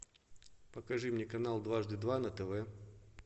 покажи мне канал дважды два на тв